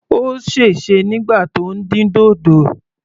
Ó sèse nígbà tí ó ń dín dòdò.